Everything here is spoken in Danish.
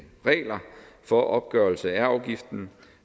regler for opgørelse af afgiften